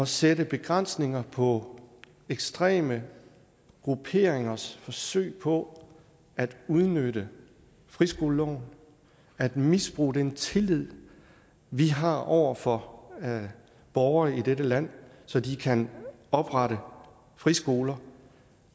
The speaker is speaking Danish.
sætte begrænsninger på ekstreme grupperingers forsøg på at udnytte friskoleloven at misbruge den tillid vi har over for borgere i dette land så de kan oprette friskoler